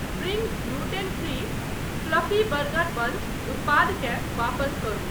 Spring gluten free fluffy burger buns उत्पादकेँ वापस करू।